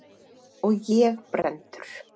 Og ég brenndur.